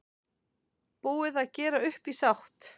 Búið að gera upp í sátt